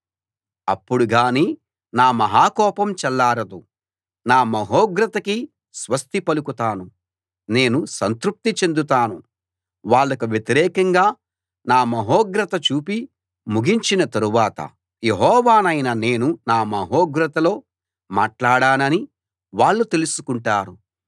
అప్పుడుగానీ నా మహా కోపం చల్లారదు నా మహోగ్రతకి స్వస్తి పలుకుతాను నేను సంతృప్తి చెందుతాను వాళ్లకు వ్యతిరేకంగా నా మహోగ్రత చూపి ముగించిన తరువాత యెహోవానైన నేను నా మహోగ్రతలో మాట్లాడానని వాళ్ళు తెలుసుకుంటారు